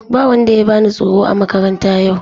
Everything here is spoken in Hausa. Ba wanda ya bani tsoro a makaranta yau.